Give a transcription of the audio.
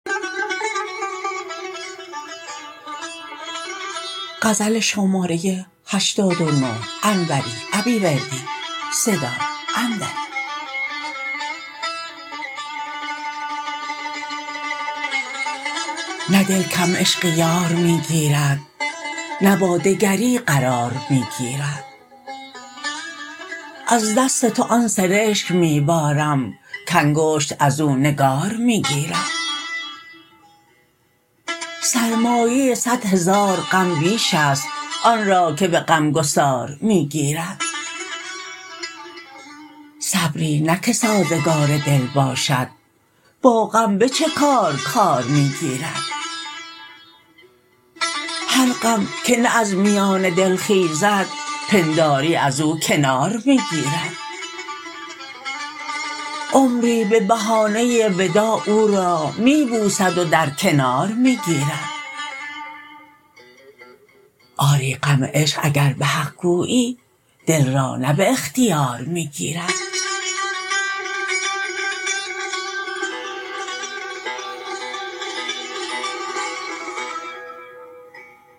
نه دل کم عشق یار می گیرد نه با دگری قرار می گیرد از دست تو آن سرشک می بارم کانگشت ازو نگار می گیرد سرمایه صدهزار غم بیش است آنرا که به غمگسار می گیرد صبری نه که سازگار دل باشد با غم به چه کار کار می گیرد هر غم که نه از میان دل خیزد پنداری ازو کنار می گیرد عمری به بهانه وداع او را می بوسد و در کنار می گیرد آری غم عشق اگر به حق گویی دل را نه به اختیار می گیرد